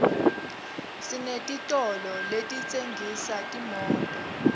senetitolo letitsengisa timoto